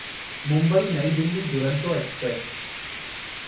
Mumbai New Delhi Duronto express